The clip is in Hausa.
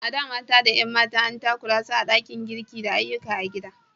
A da, mata da 'yan mata an takura su a cikin ɗakin girki da ayyukan gida.